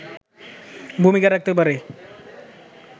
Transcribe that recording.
ভূমিকা রাখতে পারে